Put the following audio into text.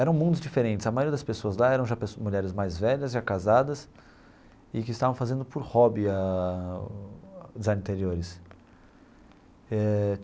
Eram mundos diferentes, a maioria das pessoas lá eram já pessoas mulheres mais velhas, já casadas, e que estavam fazendo por hobby a o design de interiores eh.